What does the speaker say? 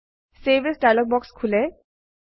save as dialog box খোলে